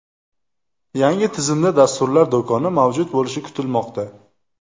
Yangi tizimda dasturlar do‘koni mavjud bo‘lishi kutilmoqda.